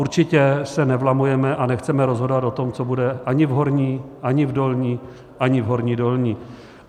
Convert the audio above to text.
Určitě se nevlamujeme a nechceme rozhodovat o tom, co bude ani v Horní ani v Dolní ani v Horní Dolní.